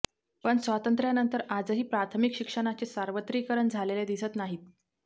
पण स्वातंत्र्यानंतर आजही प्राथमिक शिक्षणाचे सार्वत्रिकरण झालेले दिसत नाहीत